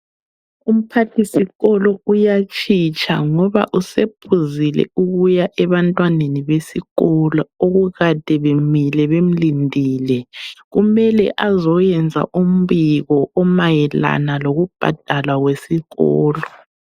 Umphathisikolo uyatshitsha ngoba usephuzile ukuya ebantwaneni besikolo okukade bemile bemlindile. Kumele azoyenza umbiko omayelana lokubhadalwa kwesikolo.